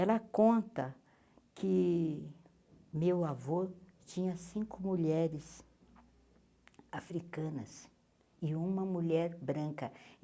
Ela conta que meu avô tinha cinco mulheres africanas e uma mulher branca.